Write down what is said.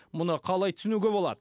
мұны қалай түсінуге болады